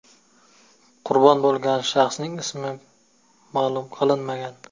Qurbon bo‘lgan shaxsning ismi ma’lum qilinmagan.